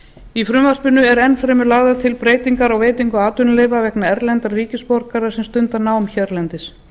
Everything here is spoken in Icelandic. í frumvarpinu eru enn fremur lagðar til breytingar á veitingu atvinnuleyfa vegna erlendra ríkisborgara sem stunda nám hérlendis